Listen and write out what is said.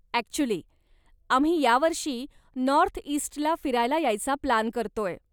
Actually, आम्ही यावर्षी नॉर्थइस्टला फिरायला यायचा प्लान करतोय.